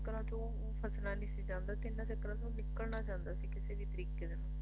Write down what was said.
ਚੱਕਰਾਂ ਤੋਂ ਫਸਣਾ ਨੀ ਸੀ ਚਾਹੁੰਦਾ ਤੇ ਇਹਨਾਂ ਚੱਕਰਾਂ ਤੋਂ ਨਿਕਲਣਾ ਚਾਹੁੰਦਾ ਸੀ ਕਿਸੇ ਵੀ ਤਰੀਕੇ ਨਾਲ